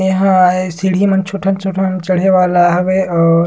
नहीं हो रहा हैं सीढ़ी मन छोटा-छोटा चढ़े वाला हवे और--